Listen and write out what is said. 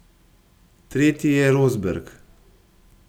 Tretji je Rosberg.